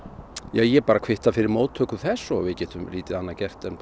ég bara kvitta fyrir þess og við getum lítið annað gert en